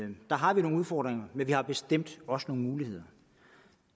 vi har nogle udfordringer men vi har bestemt også nogle muligheder